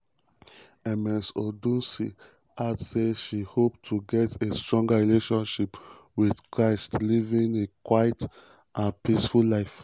ms odunsi add say she hope to get a "stronger relationship with christ living a quiet and and peaceful life".